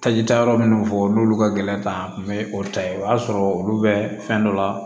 Tajita yɔrɔ minnu fɔ n'olu ka gɛlɛn ta n bɛ o ta ye o y'a sɔrɔ olu bɛ fɛn dɔ la